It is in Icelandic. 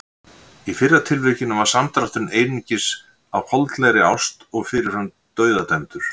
Í fyrra tilvikinu var samdrátturinn einungis reistur á holdlegri ást og fyrirfram dauðadæmdur.